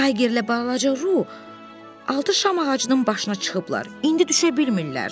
Taygerlə balaca Ruh altı şam ağacının başına çıxıblar, indi düşə bilmirlər.